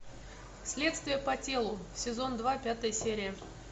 следствие по телу сезон два пятая серия